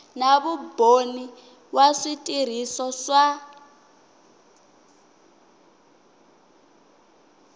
na vumbhoni wa switirhiso swa